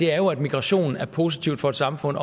er jo at migration er positivt for et samfund